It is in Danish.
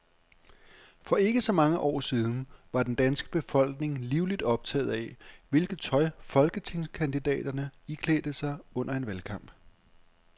For ikke så mange år siden var den danske befolkning livligt optaget af, hvilket tøj folketingskandidaterne iklædte sig under en valgkamp.